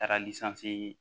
Taara